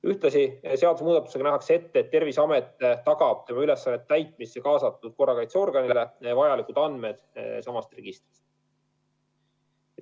Ühtlasi nähakse seadusemuudatusega ette, et Terviseamet tagab tema ülesannete täitmisse kaasatud korrakaitseorganitele vajalikud andmed samast registrist.